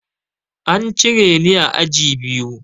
An cire ni a aji biyu.